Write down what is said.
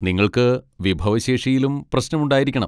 നിങ്ങൾക്ക് വിഭവശേഷിയിലും പ്രശ്നമുണ്ടായിരിക്കണം.